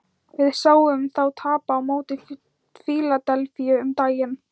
Við sáum þá tapa á móti Fíladelfíu um daginn.